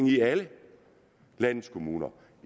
i alle landets kommuner